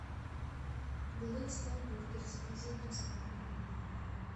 блэк стар бургер заказать доставку